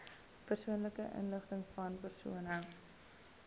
persoonlike inligtingvan persone